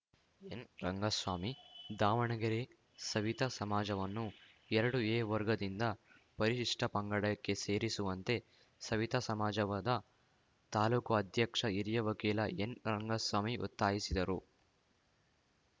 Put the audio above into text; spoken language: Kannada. ಎನ್‌ರಂಗಸ್ವಾಮಿ ದಾವಣಗೆರೆ ಸವಿತಾ ಸಮಾಜವನ್ನು ಎರಡು ಎ ವರ್ಗದಿಂದ ಪರಿಶಿಷ್ಟಪಂಗಡಕ್ಕೆ ಸೇರಿಸುವಂತೆ ಸವಿತಾ ಸಮಾಜವಾದ ತಾಲೂಕು ಅಧ್ಯಕ್ಷ ಹಿರಿಯ ವಕೀಲ ಎನ್‌ರಂಗಸ್ವಾಮಿ ಒತ್ತಾಯಿಸಿದರು